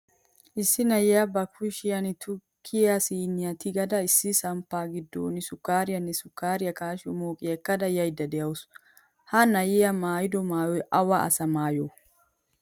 Issi na'iyaa ba kushiyan tukkiyaa siiniyan tigada issi samppa giddon sukariyane sukariyaa kashiyo moqiyaa ekkada yauda deawusu. Ha na'iyaa maayido maayoy awa asa maayo?